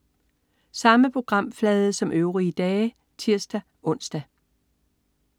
Samme programflade som øvrige dage (tirs-ons)